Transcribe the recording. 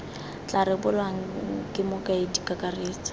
tla rebolwang ke mokaedi kakaretso